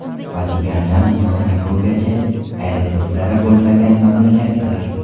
Vatikandan Monakogacha: aeroportlari bo‘lmagan mamlakatlar .